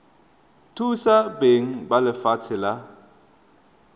thusa beng ba lefatshe la